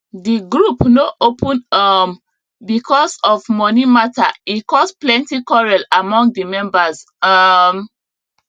the group no open um because of money matter e cause plenty quarrel among the members um